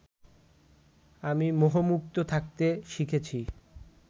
আমি মোহমুক্ত থাকতে শিখেছি